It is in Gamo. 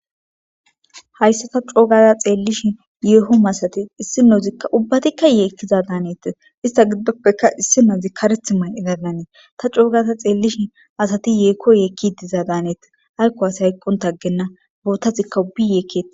Hassa ta co gada xeelishn yeho massates isinozika ubatika yeekiza danetesi, ista giddoppekae issinazi karethi mayida Danes, ta co gada xelishshin asati yeho yekishshe diza danetesi ayko asiy hayqonta agena , bootazika ubbiy yeekesi.